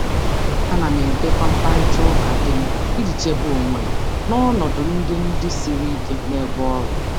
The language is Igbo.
Ana m edekọ mkparịta ụka mkparịta ụka dị mkpa iji chedo onwe m n'ọnọdụ ebe ọrụ gbagwojuru anya.